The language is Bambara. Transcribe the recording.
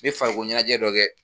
N be farikolo ɲɛnajɛ dɔ dɛ